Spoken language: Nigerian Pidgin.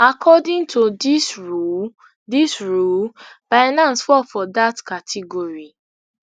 according to dis rule dis rule binance fall for dat category